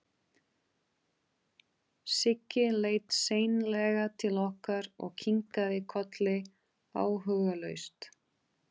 Siggi leit seinlega til okkar og kinkaði kolli áhugalaust.